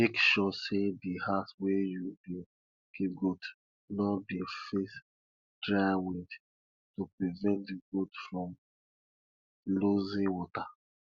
make sure say di house wey you dey keep goat no dey face dry wind to prevent di goats from losing water